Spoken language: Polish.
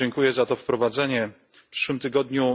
Dziękuję za to wprowadzenie. W przyszłym tygodniu